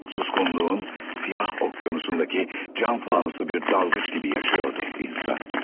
Suskunluğun siyah okyanusundaki can fanusu bir dalgıç gibi yaşıyordu insan.